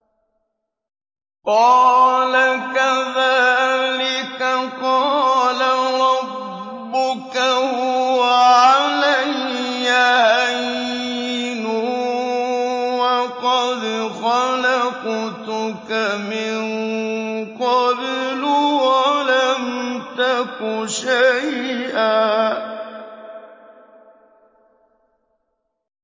قَالَ كَذَٰلِكَ قَالَ رَبُّكَ هُوَ عَلَيَّ هَيِّنٌ وَقَدْ خَلَقْتُكَ مِن قَبْلُ وَلَمْ تَكُ شَيْئًا